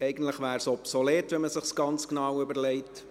– Eigentlich wäre es obsolet, wenn man es sich ganz genau überlegt.